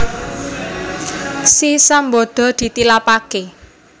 Si Sambada ditilapaké